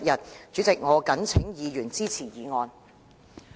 代理主席，我謹請議員支持議案。